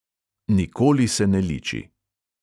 Nikoli se ne liči.